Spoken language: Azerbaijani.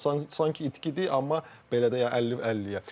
Yəni sanki itkidir, amma belə də 50-50-yə.